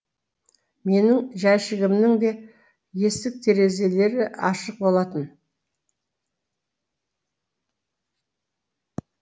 менің жәшігімнің де есік терезелері ашық болатын